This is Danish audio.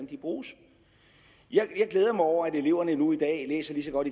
de bruges jeg glæder mig over at eleverne nu i dag læser lige så godt